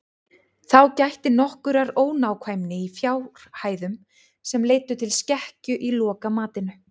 Þá gætti nokkurrar ónákvæmni í fjárhæðum sem leiddu til skekkju í lokamatinu.